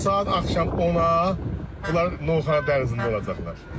Saat axşam 10-a, bunlar Novxanı dənizində olacaqlar.